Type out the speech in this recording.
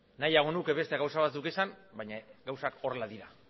nahiago nuke beste gauza batzuk esan baina gauzak horrela dira